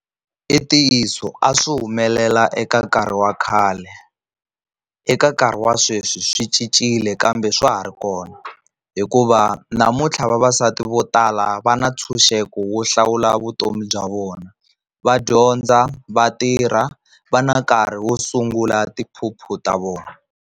I ntiyiso a swi humelela eka nkarhi wa khale, eka nkarhi wa sweswi swi cincile kambe swa ha ri kona hikuva namuntlha vavasati vo tala va na ntshunxeko wo hlawula vutomi bya vona. Va dyondza, va tirha va na nkarhi wo sungula tiphuphu ta vona.